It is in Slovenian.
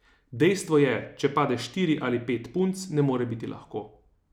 Dejstvo je, če pade štiri ali pet punc, ne more biti lahko.